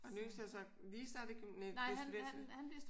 Og den yngste er så lige startet i gymnasiet nej bliver student til?